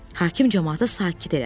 Hakim camaatı sakit elədi.